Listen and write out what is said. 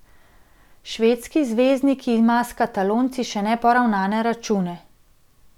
Švedski zvezdnik ima s Katalonci še neporavnane račune.